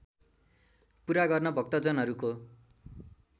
पूरा गर्न भक्तजनहरूको